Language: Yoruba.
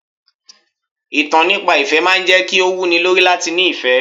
Ìtàn nípa ìfẹ́ máa ń jẹ́ kí ó wú ni lórí láti ní ìfẹ́.